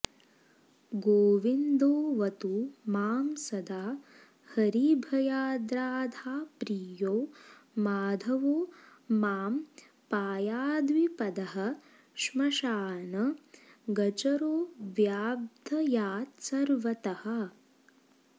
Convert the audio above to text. गोविन्दोऽवतु मां सदा हरिभयाद्राधाप्रियो माधवो मां पायाद्विपदः श्मशानगचरोऽव्याद्भयात्सर्वतः